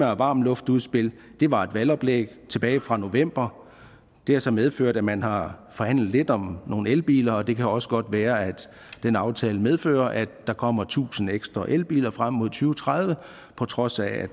varmluftudspil var et valgoplæg tilbage fra november det har så medført at man har forhandlet lidt om nogle elbiler og det kan også godt være at den aftale medfører at der kommer tusind ekstra elbiler frem mod to tredive på trods af